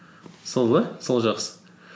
сол да сол жақсы